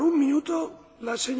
Panie Przewodniczący!